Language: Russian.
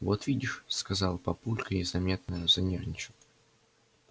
вот видишь сказал папулька и заметно занервничал